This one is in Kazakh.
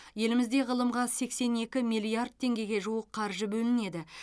елімізде ғылымға сексен екі миллиард теңгеге жуық қаржы бөлінеді